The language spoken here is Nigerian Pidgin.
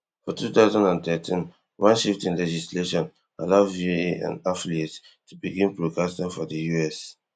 for two thousand and thirteen one shift in legislation allow voa and affiliates to begin broadcasting for di us